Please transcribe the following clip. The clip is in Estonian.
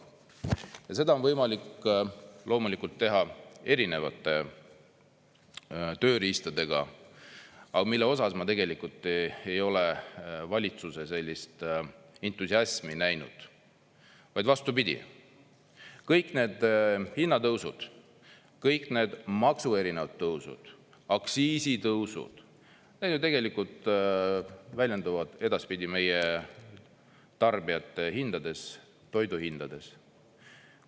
Ja seda on võimalik loomulikult teha erinevate tööriistadega, mille osas ma tegelikult ei ole valitsuse sellist entusiasmi näinud, vaid vastupidi, kõik need hinnatõusud, kõik need maksutõusud, aktsiisitõusud ju tegelikult väljenduvad edaspidi meie tarbijate hindades, toiduhindades.